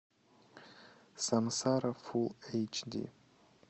сансара фул эйч ди